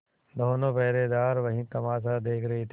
दोनों पहरेदार वही तमाशा देख रहे थे